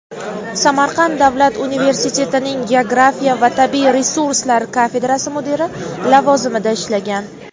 Samarqand davlat universitetining geografiya va tabiiy resurslar kafedrasi mudiri lavozimida ishlagan.